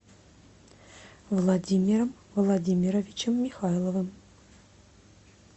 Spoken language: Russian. владимиром владимировичем михайловым